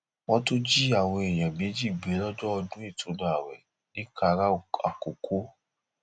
wọn tún jí àwọn èèyàn méjì gbé lọjọ ọdún ìtùnú ààwẹ ńìkararam àkọkọ